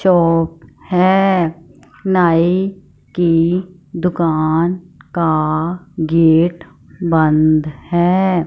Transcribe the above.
चौंक है नाई की दुकान का गेट बन्द है।